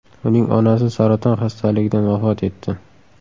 Uning onasi saraton xastaligidan vafot etdi.